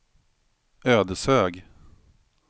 Ödeshög